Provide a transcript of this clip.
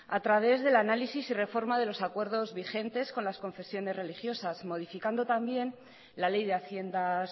a través del análisis y reforma de los acuerdos vigentes con las confesiones religiosas modificando también la ley de haciendas